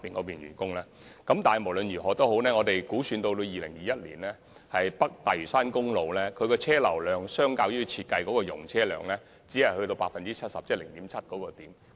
無論如何，我們估算至2021年，北大嶼山公路的車流量相較設計的容車量，只達到 70%。